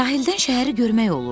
Sahildən şəhəri görmək olurdu.